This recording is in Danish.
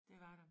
Det var der